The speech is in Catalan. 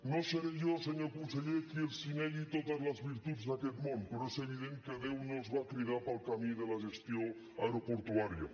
no seré jo senyor conseller qui els negui totes les virtuts d’aquest món però és evident que déu no els va cridar per al camí de la gestió aeroportuària